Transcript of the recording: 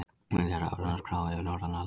Vilja rafræna skrá yfir norræna lækna